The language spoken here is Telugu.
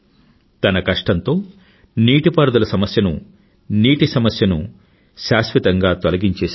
తన పరిశ్రమతో నీటిపారుదల సమస్యను నీటి సమస్యను శాశ్వతంగా తొలగించేశాడు